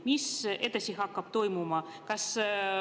Mis edasi hakkab toimuma?